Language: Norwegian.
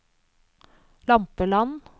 Lampeland